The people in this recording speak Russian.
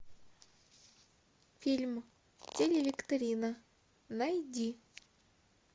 фильм телевикторина найди